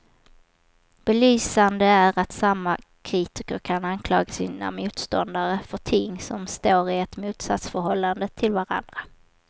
Belysande är att samma kritiker kan anklaga sina motståndare för ting som står i ett motsatsförhållande till varandra.